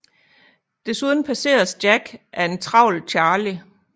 Desuden passeres Jack af en travl Charlie